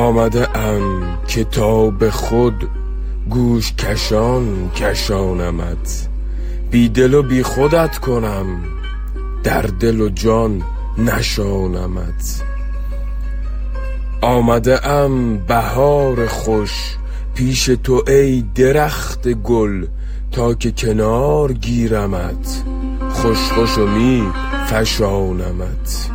آمده ام که تا به خود گوش کشان کشانمت بی دل و بی خودت کنم در دل و جان نشانمت آمده ام بهار خوش پیش تو ای درخت گل تا که کنار گیرمت خوش خوش و می فشانمت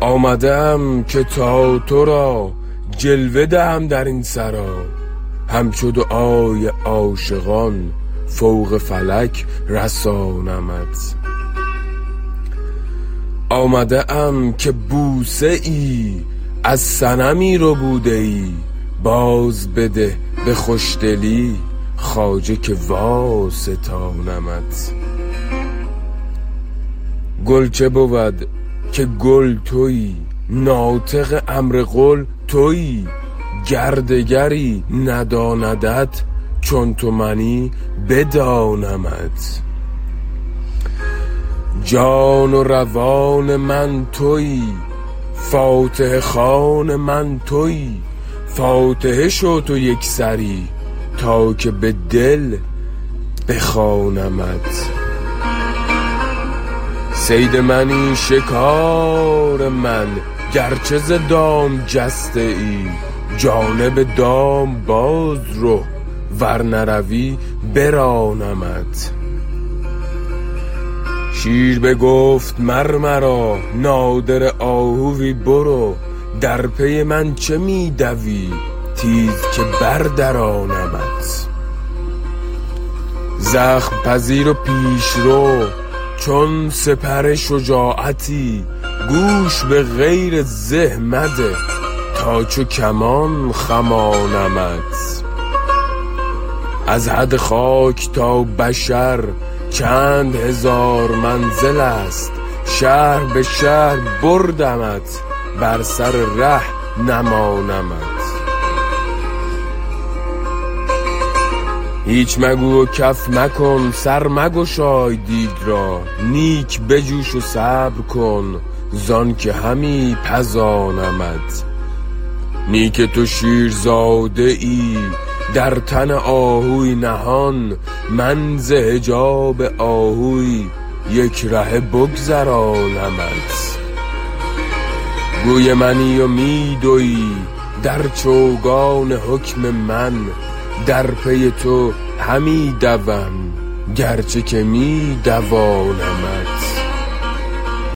آمده ام که تا تو را جلوه دهم در این سرا همچو دعای عاشقان فوق فلک رسانمت آمده ام که بوسه ای از صنمی ربوده ای بازبده به خوشدلی خواجه که واستانمت گل چه بود که کل تویی ناطق امر قل تویی گر دگری نداندت چون تو منی بدانمت جان و روان من تویی فاتحه خوان من تویی فاتحه شو تو یک سری تا که به دل بخوانمت صید منی شکار من گرچه ز دام جسته ای جانب دام باز رو ور نروی برانمت شیر بگفت مر مرا نادره آهوی برو در پی من چه می دوی تیز که بردرانمت زخم پذیر و پیش رو چون سپر شجاعتی گوش به غیر زه مده تا چو کمان خمانمت از حد خاک تا بشر چند هزار منزلست شهر به شهر بردمت بر سر ره نمانمت هیچ مگو و کف مکن سر مگشای دیگ را نیک بجوش و صبر کن زانک همی پزانمت نی که تو شیرزاده ای در تن آهوی نهان من ز حجاب آهوی یک رهه بگذرانمت گوی منی و می دوی در چوگان حکم من در پی تو همی دوم گرچه که می دوانمت